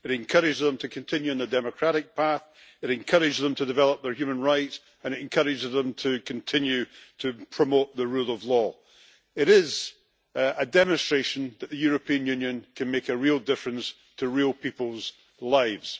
It encourages them to continue on a democratic path, it encourages them to develop their human rights, and it encourages them to continue to promote the rule of law. It is a demonstration that the European Union can make a real difference to real people's lives.